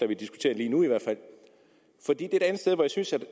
vi diskuterer lige nu hvor jeg synes